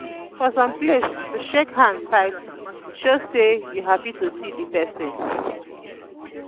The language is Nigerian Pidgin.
for some place to shake hand tight show sey you happy to see di pesin.